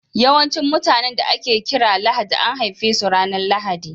Yawancin mutanen da ake kira Lahadi an haife su ranar Lahadi.